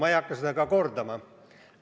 Ma ei hakka seda ka kordama.